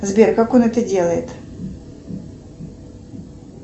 сбер как он это делает